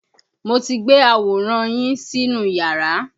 Mo ti gbé àwòrán yín sínú iyàrá.